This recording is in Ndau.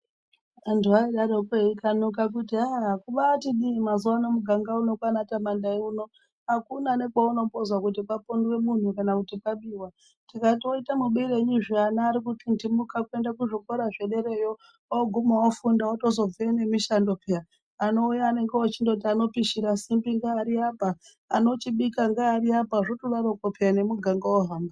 Vantu vanodarokwo eikanuka kuti aa kumbati dii mazuwano muganga uno kwana Tamandayi uno akuna nekwaunombozwa kuti papondwe muntu kana kuti pabiwa tikati oite mubirei zve ana akutindimuka kuende kuzvikora zvedereyo oguma ofunda otozobveyo nemushando phiya anouya oti anopishira ngeari apa anochibika ngeari apa zvotodarokwo phiya nemuganga wohamba.